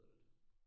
Det lyder lidt